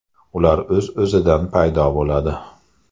Ular o‘z-o‘zidan paydo bo‘ladi.